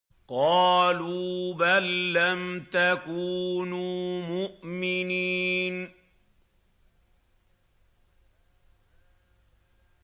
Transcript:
قَالُوا بَل لَّمْ تَكُونُوا مُؤْمِنِينَ